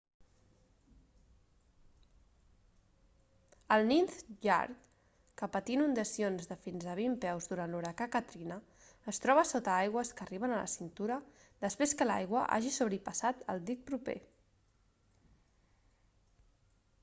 el ninth ward que patí inundacions de fins a 20 peus durant l'huracà katrina es troba sota aigües que arriben a la cintura després que l'aigua hagi sobrepassat el dic proper